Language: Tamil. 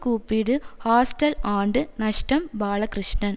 கூப்பிடு ஹாஸ்டல் ஆண்டு நஷ்டம் பாலகிருஷ்ணன்